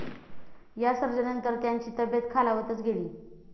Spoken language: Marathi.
या सर्जरीनंतर त्यांची तब्येत खालावतच गेली.